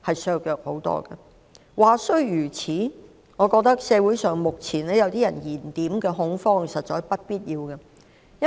儘管如此，我認為目前某些人在社會上製造的恐慌實屬不必要。